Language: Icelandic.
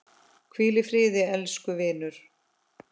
Hvíl í friði elsku vinur!